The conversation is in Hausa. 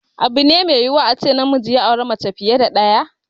Abu ne mai yiwuwa a ce namiji ya auri mace fiye da ɗaya.